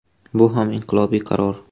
“Bu ham inqilobiy qaror.